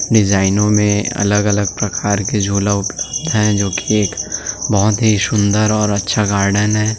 डिजाइनों में अलग-अलग प्रकार के झूला उपलब्ध है जो की एक बहुत ही सुंदर और अच्छा गार्डन है।